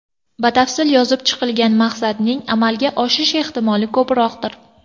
Batafsil yozib chiqilgan maqsadning amalga oshish ehtimoli ko‘proqdir.